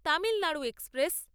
Tamil Nadu express